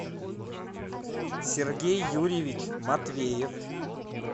сергей юрьевич матвеев